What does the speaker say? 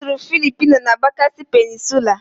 Ọ sụrụ Philipino na Bakasi Peninsulaa